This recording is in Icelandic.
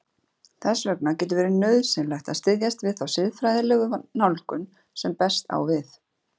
Þess vegna getur verið nauðsynlegt að styðjast við þá siðfræðilegu nálgun sem best á við.